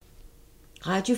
Radio 4